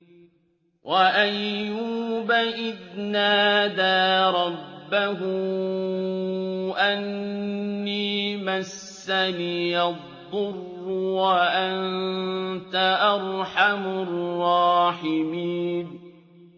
۞ وَأَيُّوبَ إِذْ نَادَىٰ رَبَّهُ أَنِّي مَسَّنِيَ الضُّرُّ وَأَنتَ أَرْحَمُ الرَّاحِمِينَ